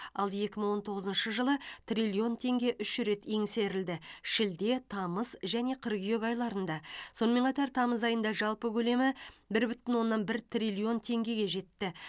ал екі мың он тоғызыншы жылы триллион теңге үш рет еңсерілді шілде тамыз және қыркүйек айларында сонымен қатар тамыз айында жалпы көлемі бір бүтін оннан бір триллион теңгеге жетті